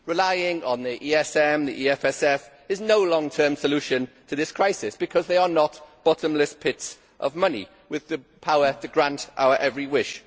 Relying on the ESM and the EFSF is no long term solution to this crisis because they are not bottomless pits of money with the power to grant our every wish.